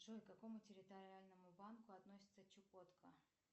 джой к какому территориальному банку относится чукотка